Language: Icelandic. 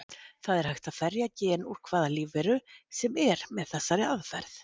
Það er hægt að ferja gen úr hvaða lífveru sem er með þessari aðferð.